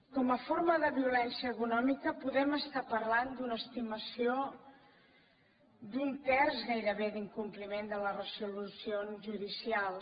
com a forma de violència econòmica podem estar parlant d’una estimació d’un terç gairebé d’incompliment de les resolucions judicials